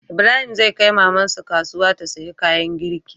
Ibrahim zai kai maman su kasuya ta siya kayan girki